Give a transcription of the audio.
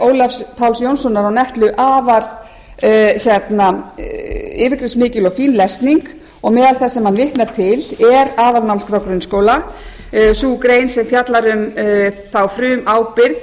ólafs páls jónssonar og netlu afar yfirgripsmikil og fín lesning og meðal þess sem hann vitnar til er aðalnámskrá grunnskóla sú grein sem fjallar um þá frumábyrgð